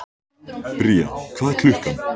Bría, hvað er klukkan?